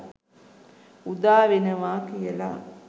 උදා වෙනවා කියලා.